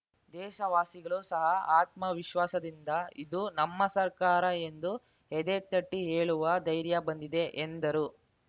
ದೇಶವಾಸಿಗಳು ಸಹ ಆತ್ಮವಿಶ್ವಾಸದಿಂದ ಇದು ನಮ್ಮ ಸರ್ಕಾರ ಎಂದು ಎದೆತಟ್ಟಿಹೇಳುವ ಧೈರ್ಯ ಬಂದಿದೆ ಎಂದರು